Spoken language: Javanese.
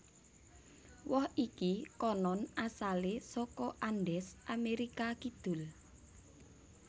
Woh iki konon asalé saka Andes Amérika Kidul